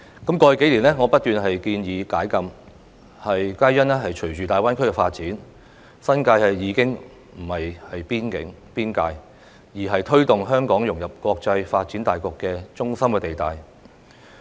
在過去數年，我不斷建議解禁，因為隨着大灣區發展，新界已經不再是邊境、邊界，而是推動香港融入國際發展大局的中心地帶。